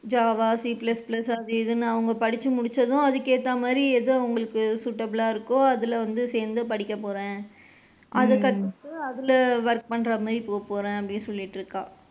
Java, C plus plus அது இதுன்னு அவுங்க படிச்சு முடிச்சதும் அதுக்கு ஏத்த மாதிரி எது அவுங்களுக்கு suitable லா இருக்கோ அதுல வந்து சேர்ந்து படிக்க போறேன் அதுக்கு அடுத்து அதுல work பண்ற மாதிரி போக போறேன் அப்படின்னு சொல்லிட்டு இருக்கா.